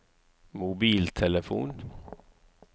mobiltelefon